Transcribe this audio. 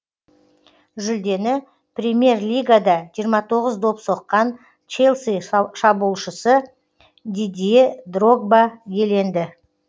жүлдені премьер лигада жиырма тоғыз доп соққан челси шабуылшысы дидье дрогба иеленді